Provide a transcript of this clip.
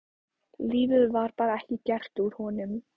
Lífið var bara ekki gert úr honum.